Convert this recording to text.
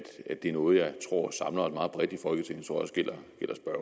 det er noget jeg tror samler meget bredt i folketinget